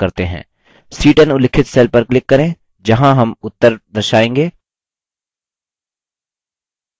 c10 उल्लिखित cell पर click करें जहाँ हम उत्तर दर्शाएँगे